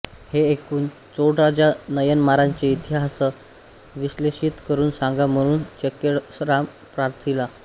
हे ऐकून चोळराजा नायनमारांचे इतिहासास विश्लेषित करून सांगा म्हणून चेक्किऴारास प्रार्थिला